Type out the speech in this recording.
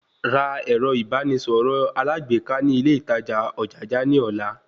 Ra ẹ̀rọ ìbánisọ̀rọ̀ alágbèéká ní ilé ìtajà Ojaja ní ọ̀la